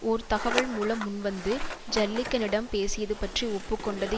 ஓர் தகவல் மூலம் முன்வந்து ஜில்லிக்கனிடம் பேசியது பற்றி ஒப்பு கொண்டது